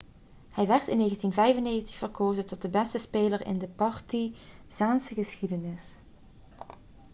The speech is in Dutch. hij werd in 1995 verkozen tot de beste speler in de partizaanse geschiedenis